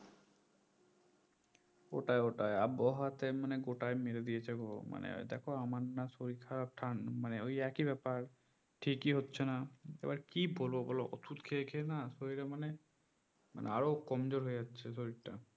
ওটায় ওটায় আবহাওয়াতে মানে গোটায় মেরে দিয়েছে গো মানে দেখো আমার না শরীর খারাপ থান মানে ওই একই ব্যাপার ঠিকই হচ্ছেনা এবার কি বলবো বলো ওষুধ খেয়ে খেয়ে না শরীরে মানে আরো কমজোর হয়ে যাচ্ছে শরীরটা